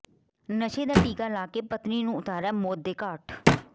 ਨਸ਼ੇ ਦਾ ਟੀਕਾ ਲਾ ਕੇ ਪਤਨੀ ਨੂੰ ਉਤਾਰਿਆ ਮੌਤ ਦੇ ਘਾਟ